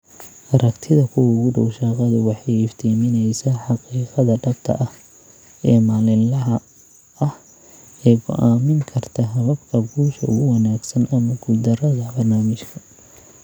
Aragtida kuwa ugu dhow shaqadu waxay iftiiminaysaa xaqiiqada dhabta ah ee maalinlaha ah ee go'aamin karta hababka guusha ugu wanaagsan ama guuldarrada barnaamijka.